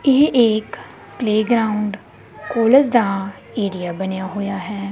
ਇਹ ਇੱਕ playground college ਦਾ ਏਰੀਆ ਬਣਿਆ ਹੋਇਆ ਹੈ।